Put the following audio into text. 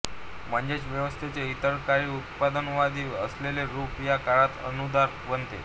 म्हणजेच व्यवस्थेचे इतर काळी उदारमतवादी असलेले रूप या काळात अनुदार बनते